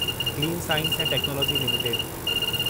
clean science ऐं technology limited